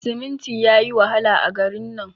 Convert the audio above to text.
siminti yayi wahala a garin nan